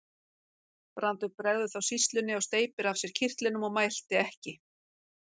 Brandur bregður þá sýslunni og steypir af sér kyrtlinum og mælti ekki.